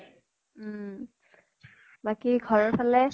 উম। বাকী ঘৰৰ ফালে?